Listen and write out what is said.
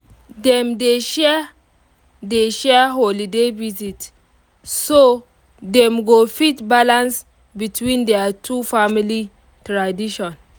dem dey share dey share holiday visit so dem go fit balance between their two family tradition